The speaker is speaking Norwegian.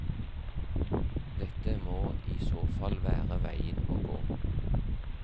Dette må i så fall være veien å gå.